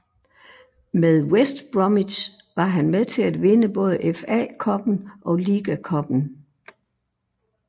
Med West Bromwich var han med til at vinde både FA Cuppen og Liga Cuppen